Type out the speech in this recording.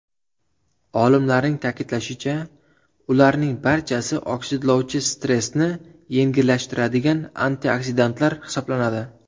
Olimlarning ta’kidlashicha, ularning barchasi oksidlovchi stressni yengillashtiradigan antioksidantlar hisoblanadi.